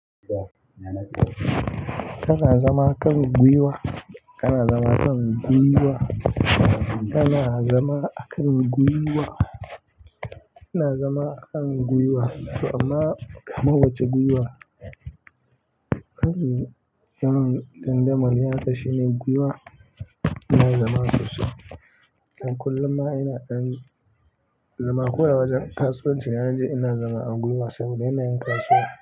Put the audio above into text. Kana zama kan gwiwa, kana zama kan gwiwa, kana zama a kan gwiwa, kana zama a kan gwiwa, amma kamar wace gwiwa? Kan dan damali haka shine gwiwa ina zama sosai. Don kullum ma ina ɗan zama ko a wajen kasuwanci na je ina zama a gwiwa saboda yanayin kasuwa.